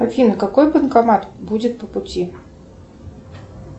афина какой банкомат будет по пути